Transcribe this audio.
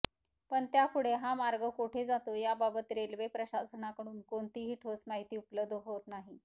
पण त्यापुढे हा मार्ग कोठे जातो याबाबत रेल्वे प्रशासनाकडून कोणतीही ठोस माहिती उपलब्ध होत नाही